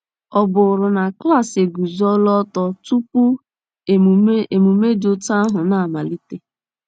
Ọ bụrụ na klaasị eguzola ọtọ tupu emume emume dị otú ahụ na-amalite?